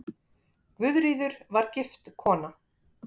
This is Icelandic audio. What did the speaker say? Guðríður var gift kona.